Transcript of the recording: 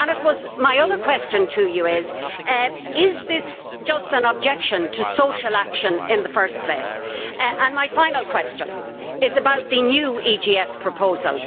I suppose my other question to you is is this just an objection to social action in the first place? My final question is about the new EGF proposal.